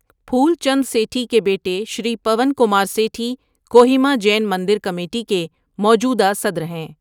پھول چند سیٹھی کے بیٹے شری پون کمار سیٹھی کوہیما جین مندر کمیٹی کے موجودہ صدر ہیں۔